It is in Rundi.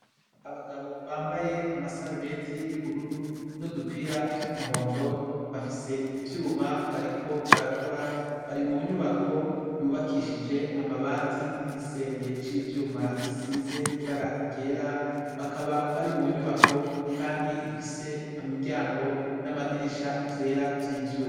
Abagabo bambaye amasarubeti yubururu n'udupira tw'umuhondo bafise ivyuma bariko barakora bari munyubako yubakishije amabati n'igisenge c'ivyuma gisize ibara ryera bakaba bari munyubako kandi ifise imiryango n'amadirisha vyera vy'ivyuma.